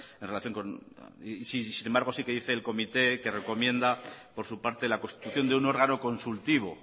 etcétera y sin embargo sí que dice el comité que recomienda por su parte la constitución de un órgano consultivo